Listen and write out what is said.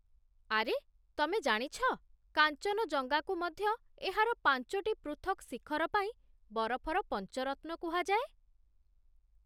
ଆରେ, ତମେ ଜାଣିଛ କାଞ୍ଚନଜଙ୍ଗାକୁ ମଧ୍ୟ ଏହାର ପାଞ୍ଚୋଟି ପୃଥକ୍ ଶିଖର ପାଇଁ 'ବରଫର ପଞ୍ଚ ରତ୍ନ' କୁହାଯାଏ?